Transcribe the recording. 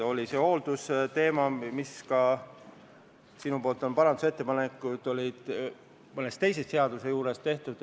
Oli see hooldusteema, mille kohta sa oled mõne teise seaduse juures ka parandusettepanekuid teinud.